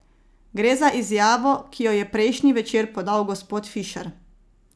Gre za izjavo, ki jo je prejšnji večer podal gospod Fišer.